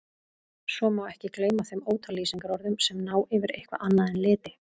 Svo má ekki gleyma þeim ótal lýsingarorðum sem ná yfir eitthvað annað en liti.